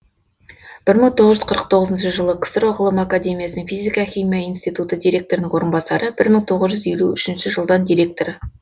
бір мың тоғыз жүз қырық тоғызыншы жылы ксро ғылым академиясының физика химия институты директорының орынбасары бір мың тоғыз жүз елу үшінші жылдан директоры